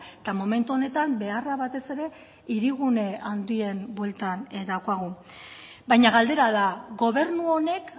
eta momentu honetan beharra batez ere hirigune handien bueltan daukagu baina galdera da gobernu honek